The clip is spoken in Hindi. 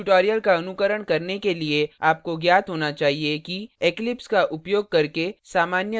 इस tutorial का अनुकरण के लिए आपको ज्ञात होना चाहिए कि eclipse का उपयोग करके सामान्य class कैसे बनाएँ